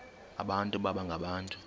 abantu baba ngabantu